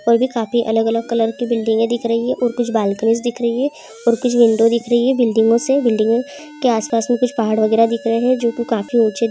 और भी काफी अलग-अलग कलर की बिल्डिंग दिख रही है। और कुछ बाल्कनी दिख रही है और कुछ विंडो दिख रही है बिल्डिंगों से। बिल्डिंग के आसपास में कुछ पहाड़ वगैरा दिख रहे हैं जो की काफी ऊंचे --